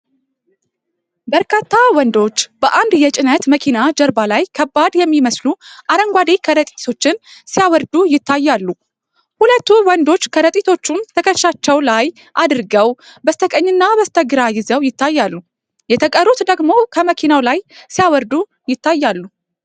በርካታ ወንዶች በአንድ የጭነት መኪና ጀርባ ላይ ከባድ የሚመስሉ አረንጓዴ ከረጢቶችን ሲያወርዱ ይታያሉ። ሁለቱ ወንዶች ከረጢቶችን ትከሻቸው ላይ አድርገው በስተቀኝና በስተግራ ይዘው ይታያሉ፤ የተቀሩት ደግሞ ከመኪናው ላይ ሲያወርዱ ይታያሉ።